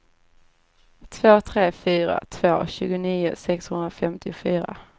två tre fyra två tjugonio sexhundrafemtiofyra